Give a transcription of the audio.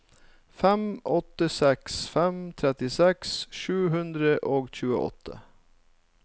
fem åtte seks fem trettiseks sju hundre og tjueåtte